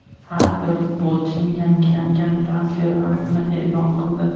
har bir futbolchining yangilangan transfer narxini e’lon qildi.